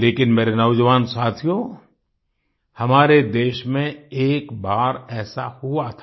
लेकिन मेरे नौजवान साथियो हमारे देश में एक बार ऐसा हुआ था